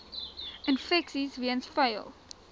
infeksies weens vuil